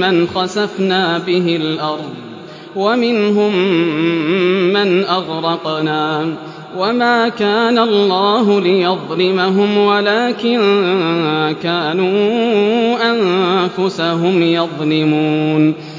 مَّنْ خَسَفْنَا بِهِ الْأَرْضَ وَمِنْهُم مَّنْ أَغْرَقْنَا ۚ وَمَا كَانَ اللَّهُ لِيَظْلِمَهُمْ وَلَٰكِن كَانُوا أَنفُسَهُمْ يَظْلِمُونَ